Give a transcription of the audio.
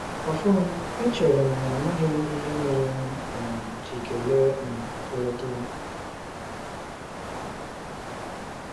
Ọfọn, echere m na amaghị m ihe mere m um ji kelee um ọkọlọtọ.